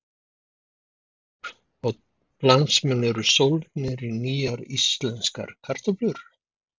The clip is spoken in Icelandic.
Magnús Hlynur: Og landsmenn eru sólgnir í nýjar íslenskar kartöflur?